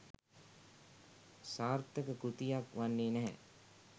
සාර්ථක කෘතියක් වන්නේ නැහැ.